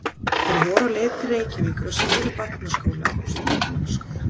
Þeir voru á leið til Reykjavíkur að smíða barnaskóla og stýrimannaskóla.